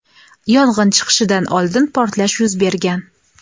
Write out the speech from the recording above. yong‘in chiqishidan oldin portlash yuz bergan.